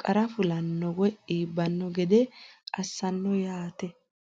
qara fulanno woyi iibbanno gede assanno yaate.